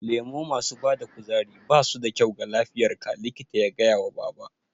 Lemo masu bada kuzari basu da kyau ga lafiyar ka, likita ya gaya wa baba